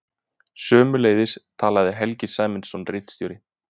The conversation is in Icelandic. Sömuleiðis talaði Helgi Sæmundsson ritstjóri.